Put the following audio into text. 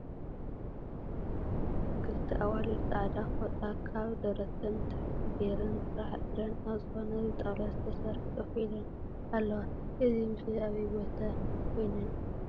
ክልተ ኣዋልድ ፃዕዳ ፎጣ ካብ ደረተን ንታሕቲ ገይረን ጥራሕ እግረን ኣብ ዝኮነ ብጣውላ ስተሰርሐ ኮፍ ኢለን ኣለዋ እዚ ምስሊ ኣበይ ቦታ ኮይነን እዩ?